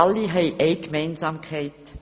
Alle haben eine Gemeinsamkeit: